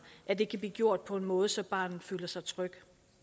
at det kan blive gjort på en måde så barnet føler sig tryg